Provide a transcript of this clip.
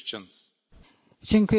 Panie Przewodniczący!